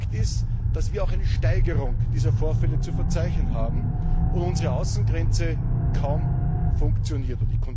Fakt ist, dass wir auch eine Steigerung dieser Vorfälle zu verzeichnen haben und die Kontrolle unserer Außengrenze kaum funktioniert.